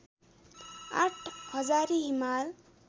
आठ हजारी हिमाल